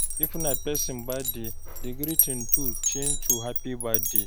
If na person birthday, di greeting to change to "happy birthday"